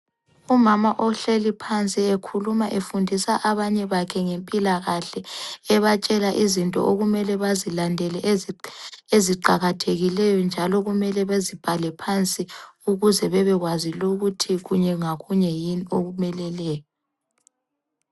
Umama ohleli phansi ekhuluma efundisa abanye bakhe ngempilakahle ebatshela izinto okumele bazilandele eziqakathekileyo njalo kumele bezibhale phansi ukuze bebekwazi lula ukuthi kunye ngakunye yini okumeleleyo.